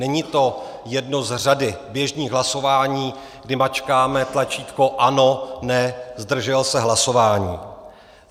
Není to jedno z řady běžných hlasování, kdy mačkáme tlačítko ano, ne, zdržel se hlasování.